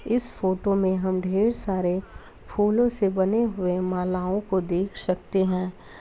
इस फोटो में हम ढेर सारे फूलों से बने हुए मालाओं को देख सकते हैं।